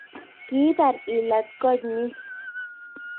kibar ilat koot nyin